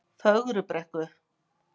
Fögrubrekku